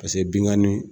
Paseke binkanni